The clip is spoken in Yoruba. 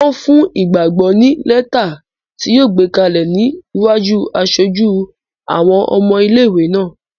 Wọ́n fún Ìgbàgbọ́ ní lẹ́tà ti yóò gbé kalẹ̀ ní iwájú aṣojú àwọn ọmọ ilé-ìwé náà